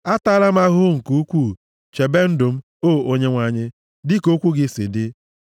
Ataala m ahụhụ nke ukwuu; chebe ndụ m, o Onyenwe anyị, dịka okwu gị si dị.